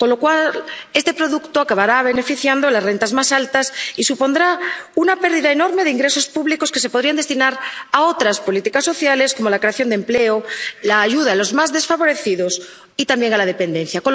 Con lo cual este producto acabará beneficiando a las rentas más altas y supondrá una pérdida enorme de ingresos públicos que se podrían destinar a otras políticas sociales, como la creación de empleo, la ayuda a los más desfavorecidos y también a la dependencia.